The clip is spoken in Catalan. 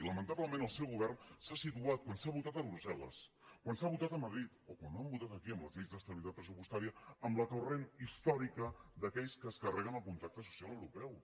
i lamentablement el seu govern s’ha situat quan s’ha votat a brusselvotat a madrid o quan han votat aquí en la llei d’estabilitat pressupostària en el corrent històric d’aquells que es carreguen el contracte social europeu